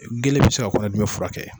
Gelen bɛ se ka kɔnɔdimi furakɛ.